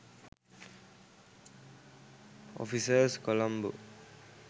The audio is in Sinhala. offices colombo